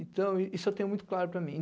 Então, isso eu tenho muito claro para mim.